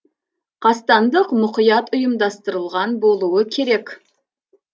қастандық мұқият ұйымдастырылған болуы керек